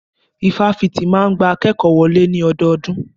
Ifáfitì máa ń gba akékòó wọlé ní ọdọọdún.